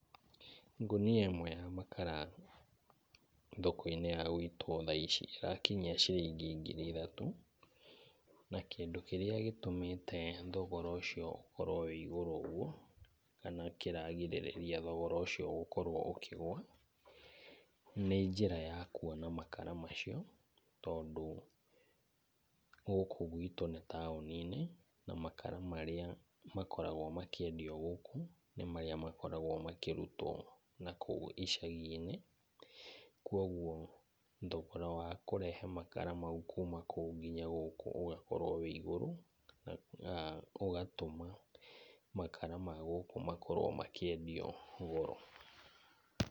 Ngũnia ĩmwe ya makara thoko-inĩ ya gwitũ thaa ici ĩrakinyia ciringi ngiri ithatũ. Na kĩndũ kĩrĩa gĩtũmĩte thogora ũcio ũkorwo wĩ igũrũ ũguo kana kĩragirĩrĩria thogora ũcio gũkorwo ũkĩgũa nĩ njĩra ya kuona makara macio tondũ gũkũ gwitũ nĩ taũni-inĩ, na makara marĩa makoragwo makĩendio gũkũ nĩ makara marĩa makĩendio gũkũ nĩ marĩa makoragwo makĩrutwo nakũu icagi-inĩ. Kwoguo thogora wa kũrehe makara mau kuuma kũu nginya gũkũ ũgakorwo wĩ igũrũ na ũgatũma makara ma gũkũ makorwo makĩendio goro.